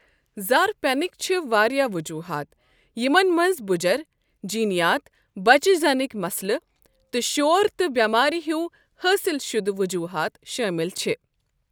زر پیٚنٕکۍ چھِ وارِیاہ وجوُحات یِمَن منٛز بُجَر، جینیات، بچہِ زیٚنٕکۍ مسلہٕ تہٕ شور تہٕ بٮ۪مٲرِ ہیوِ حٲصِل شُدٕ وجوٗہات شٲمِل چھِ ۔